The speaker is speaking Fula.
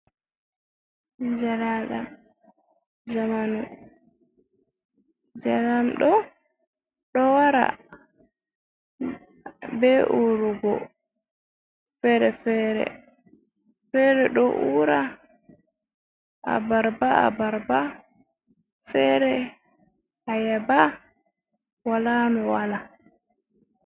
Jaraɗam njamanu, njaram ɗo ɗo wara be urugo fere fere, fere ɗo ura a barba a barba, fere ayaba, wala no wala.